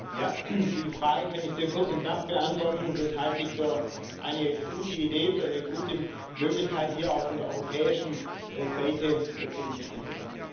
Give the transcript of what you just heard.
Ja, die Frage kann ich sehr kurz und knapp beantworten Das halte ich für eine gute Idee, für eine gute Möglichkeit, hier auch von der europäischen Seite zu unterstützen.